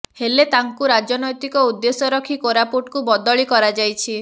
ହେଲେ ତାଙ୍କୁ ରାଜନୈତିକ ଉଦ୍ଦେଶ୍ୟ ରଖି କୋରାପୁଟକୁ ବଦଲି କରାଯାଇଛି